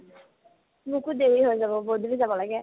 মোকো দেৰি হৈ যাব বহুত বুলি যাব লাগে